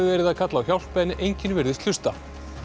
verið að kalla á hjálp en enginn virðist hlusta